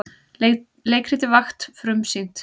Leikritið Vakt frumsýnt